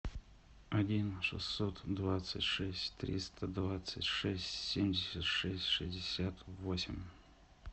один шестьсот двадцать шесть триста двадцать шесть семьдесят шесть шестьдесят восемь